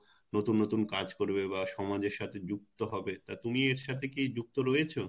নতুন নতুন কাজ করবে বা সমাজের সাথে যুক্ত হবে তা তুমি এর সাথে কি যুক্ত রয়েছো?